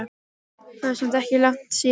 Það er samt ekkert langt síðan.